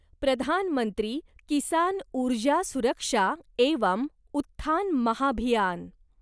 प्रधान मंत्री किसान ऊर्जा सुरक्षा एवं उत्थान महाभियान